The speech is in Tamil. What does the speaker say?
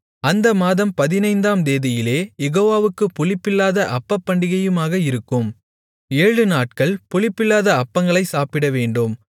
அந்த மாதம் பதினைந்தாம் தேதியிலே யெகோவாவுக்குப் புளிப்பில்லாத அப்பப்பண்டிகையுமாக இருக்கும் ஏழுநாட்கள் புளிப்பில்லாத அப்பங்களைச் சாப்பிடவேண்டும்